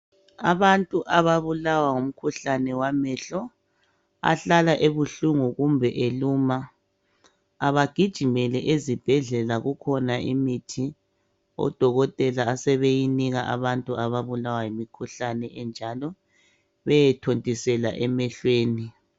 Abantu ababulawa ngumkhuhlane wamehlo ahlala ebuhlungu kumbe elumaa abagijimele ezibhedlela kukhona imithi odokotela asebeyinika abantu ababulawa yimkhuhlane enjalo beyethontisela emehlweni